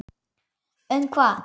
Um hvað?